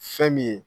Fɛn min ye